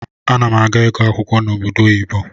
Anam aga igụ akwụkwọ na obodo oyibo.